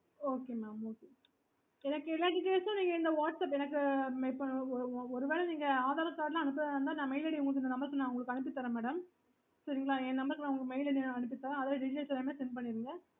okay